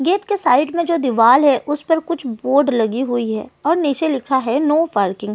gate की side में जो दीवार है उस पर कुछ बोर्ड लगी हुई है और नीचे लिखा है नो पार्किंग --